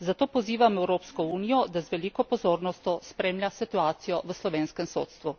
Zato pozivam Evropsko unijo, da z veliko pozornostjo spremlja situacijo v slovenskem sodstvu.